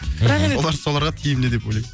бірақ енді олар соларға тиімді деп ойлаймын